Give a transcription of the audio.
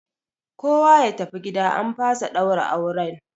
Kowa ya tafi gida an fasa ɗaura auren!